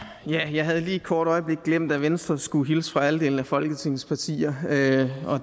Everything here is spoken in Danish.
jeg havde lige et kort øjeblik glemt at venstre skulle hilse fra halvdelen af folketingets partier